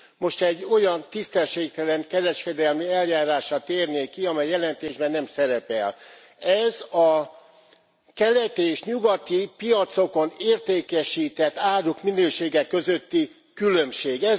Most egy olyan tisztességtelen kereskedelmi eljárásra térnék ki, ami a jelentésben nem szerepel ez a keleti és nyugati piacokon értékesített áruk minősége közötti különbség.